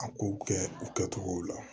A kow kɛ u kɛcogow la